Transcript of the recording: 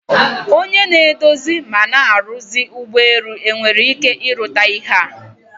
Onye na-edozi ma na-arusi ụgbọelu enere ike ịrụta ihea?